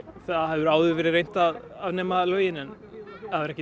það hefur áður verið reynt að afnema lögin en það hefur ekki